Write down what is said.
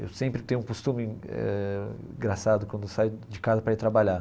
Eu sempre tenho um costume eh engraçado quando saio de casa para ir trabalhar.